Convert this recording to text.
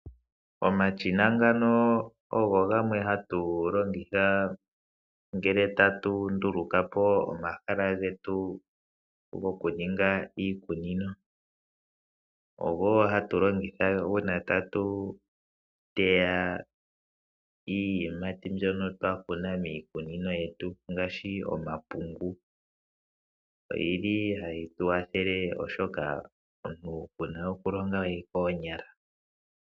Omashina ngano ogo gamwe hatu longitha ngele tatu nduluka po omahala getu gokuninga iikunino. Ogo wo hatu longitha uuna tatu teya iiyimati mbyono twa kuna miikunino yetu ngaashi omapungu. Oyi li hayi tu kwathele, oshoka omuntu ito longo we koonyala.